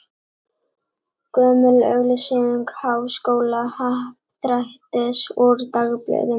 Gömul auglýsing Háskólahappdrættis úr dagblöðum.